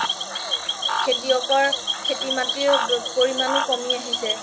খেতিয়কৰ খেতি মাতিৰ পৰিমাও কমি আহিছে